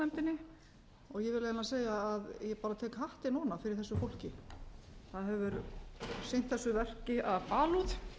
raunar segja að ég bara tek hattinn ofan fyrir þessu fólki það hefur sinnt þessu verki af alúð og